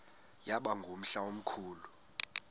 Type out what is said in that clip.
yaba ngumhla omkhulu